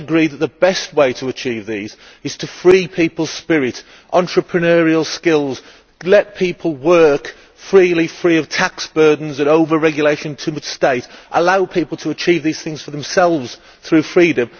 Do you not agree that the best way to achieve these goals is to free people's spirit and entrepreneurial skills, let people work freely, free of tax burdens and overregulation and too much state, and allow people to achieve these things for themselves through freedom?